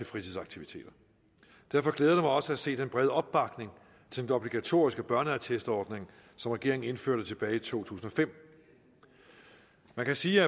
fritidsaktiviteter derfor glæder også at se den brede opbakning til den obligatoriske børneattestordning som regeringen indførte tilbage i to tusind og fem man kan sige